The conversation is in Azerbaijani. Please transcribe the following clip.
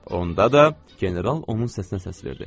onda da general onun səsinə səs verdi.